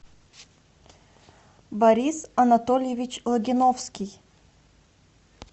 борис анатольевич логиновский